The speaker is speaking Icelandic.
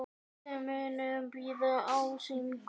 Þið munuð bíða ósigur.